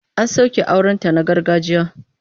An soke aurenta na gargajiya.